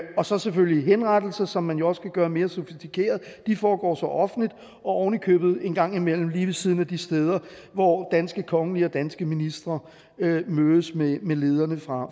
og så selvfølgelig henrettelser som man jo også kan gøre mere sofistikeret de foregår så offentligt og ovenikøbet en gang imellem lige ved siden af de steder hvor danske kongelige og danske ministre mødes med lederne fra